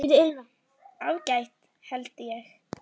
Ágætt held ég.